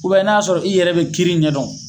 n'a y'a sɔrɔ i yɛrɛ bi kiiri ɲɛdɔn